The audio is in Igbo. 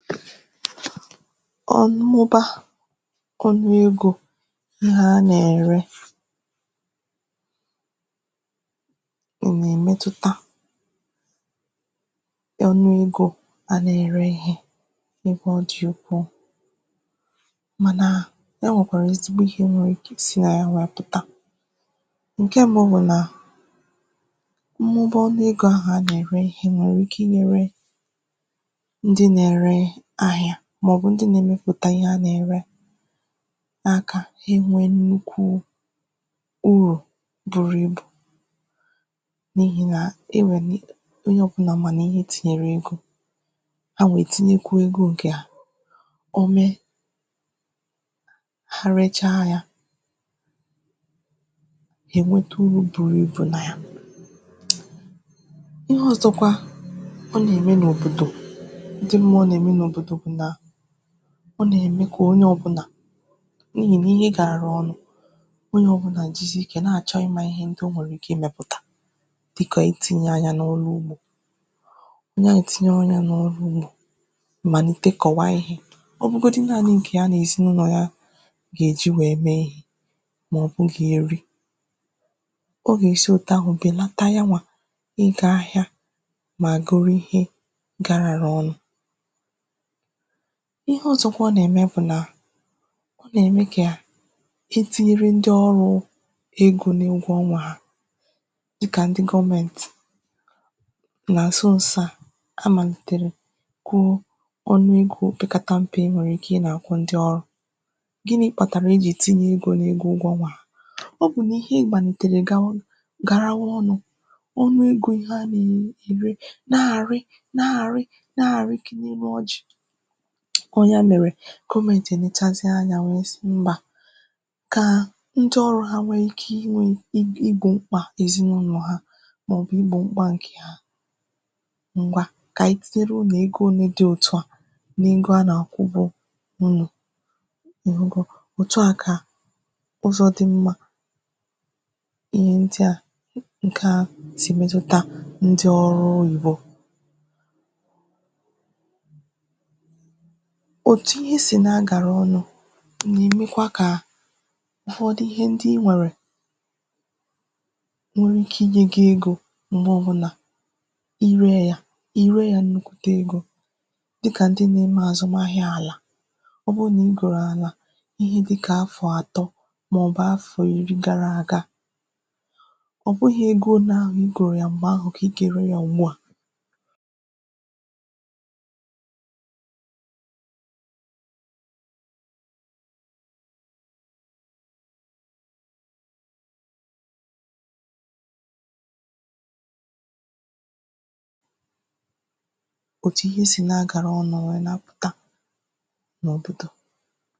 ọnụ mọba ọnụ egō ihe a nà-ère nà-èmetuta ọnụ egō a nà-ère ihe ebe ọ dì ukwuu mànà e nwèkwàrà ezigbo ihe nwere ike isi nà ya wee pụtà pụ̀ta ǹkè mbụ bụ nà mwụba ọnụ egō ahụ̀ a nà-ère ihe nwèrè ike inyēre ndị nà-ere ahịa màọbụ̀ ndị nà-èmepụ̀ta ihe a nà-ère n'aka e nwee nnukwu urù buru ibù n'ihi na e nwèe ni onye ọ̀bụna ma nà ihe tìnyèrè egō ha wà ètinye kwa ego ǹkè ha ọ mee ha recha yā ha ènweta uru buru ibù nà ya ihe ọ̀zọkwa a nà-ème n’òbodò ndị mmụọ nà-ème n’òbòdò bụ̀ na ọ nà-ème kà onye ọ̀bụna enyì gi ihe gara ọnụ̄ onye ọ̀bụna jizi ikė na-àchọ ịmā ihe ndị o nwee ike imēpụ̀tà dịkà itīnye anya n’ọrụ ugbō na-ètinye anyā n’ọrụ ugbō màlite kọ̀wa ihē ọ bụgodi nanị ǹkè ha nà-èsi n’ụnọ ha gà-èji wee mee ya màọbụ̀ m gà-ère ọ gà-èsi òtu ahụ̀ bèlata yawà ịgā ahịa mà goro ihē garāra ọnụ ihe ọ̀zọ ọ nà eme bụ̀ nà ọ nà-ème kà etinyere ndị ọrụ̄ egō n’ụgwọ ọnwā ha dịkà ndị gọmentì nà àzụ ụsa amàlìtèrè kwùo ọnụ egō pekatat m̀pe e nwèrè ike ị nā-àkwụ ndị ọrụ gini kpàtàrà ejìrì tinye egō n’ego ụgwọ ọnwā ha ọ bụ̀ nà ihe màlìtèrè gawa Garawa ọnụ̄ ọnụ egō ha nà-ère na-àri na-àri na-àri ki n’elu ojì ọ ya mèrè gọmentì è lechazie anyā wee zi mbà ka ndị ọrụ ha wee ike inwē igbò mkpà ezinaụlọ̀ ha màọbụ igbo mkpa ǹè ha ngwa kà anyị titere unù ego òle di òtu a n’ego a nà-àkwụ bu unù ìhugo òtu a kà ụzọ di mma ihe ndị a ka o sì metuta ndị ọrụ ugbō òtu ihe si na-agàra ọnụ nà-èmekwa kà aghọdị ihe ndị inwèrè nwere ike inyē gi egō màọbụ nà ire yā ire yā nnukwu wète egō dịkà ndị na-ere àzụm ahịa àlà ọ bụrụ nà ị gòrò àlà ihe dịkà afọ atọ màọbụ afọ iri gara àga ọ bụghị ego ole ahụ i gòrò ya m̀gbè ahụ ka ị gà-ère ya ùgbua òtu ihe si na-agàra ọnụ ò wee nawa pùta n’ụ̀tụtụ̀